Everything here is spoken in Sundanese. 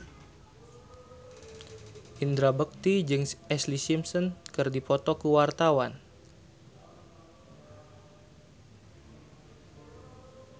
Indra Bekti jeung Ashlee Simpson keur dipoto ku wartawan